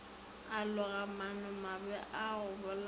a loga maanomabe a gobolaya